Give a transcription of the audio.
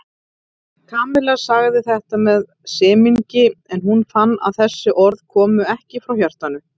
Kamilla sagði þetta með semingi en hún fann að þessi orð komu ekki frá hjartanu.